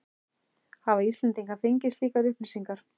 Hafa Íslendingar fengið slíkar upplýsingar?